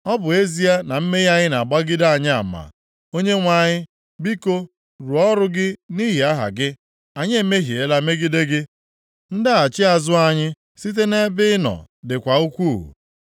Ọ bụ ezie na mmehie anyị na-agbagide anyị ama, Onyenwe anyị, biko rụọ ọrụ gị nʼihi aha gị. Anyị emehiela megide gị. Ndaghachi azụ anyị site nʼebe ị nọ dịkwa ukwuu.